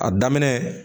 A daminɛ